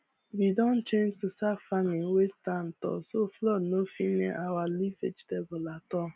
we don change to start farming wey stand tall so flood no fit near our leaf vegetable at all